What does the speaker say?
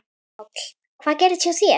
Páll: Hvað gerðist hjá þér?